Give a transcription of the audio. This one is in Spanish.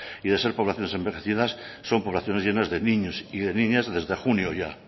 y de ser poblaciones envejecidas son poblaciones llenas de niños y de niñas desde junio ya